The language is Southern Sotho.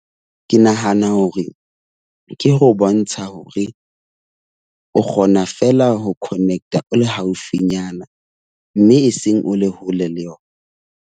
Ke nahana hore ke ho bontsha hore o kgona fela ho connect-a o le haufinyana. Mme e seng o le hole le yona.